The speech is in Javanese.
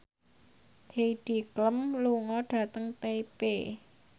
Heidi Klum lunga dhateng Taipei